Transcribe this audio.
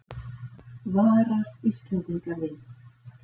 Varar Íslendinga við